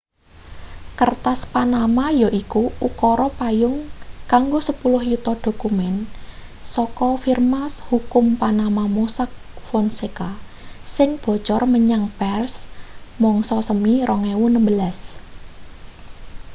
"kertas panama yaiku ukara payung kanggo sepuluh yuta dokumen saka firma hukum panama mossack fonseca sing bocor menyang pers mangsa semi 2016.